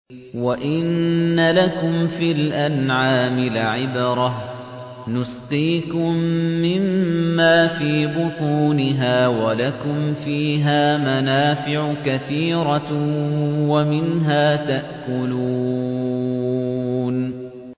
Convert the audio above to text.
وَإِنَّ لَكُمْ فِي الْأَنْعَامِ لَعِبْرَةً ۖ نُّسْقِيكُم مِّمَّا فِي بُطُونِهَا وَلَكُمْ فِيهَا مَنَافِعُ كَثِيرَةٌ وَمِنْهَا تَأْكُلُونَ